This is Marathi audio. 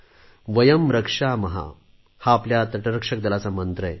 वयम् रक्षाम हा आपल्या तटरक्षक दलाचा मंत्र आहे